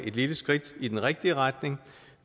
et lille skridt i den rigtige retning